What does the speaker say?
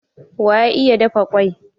Wa ya iya dafa kwai?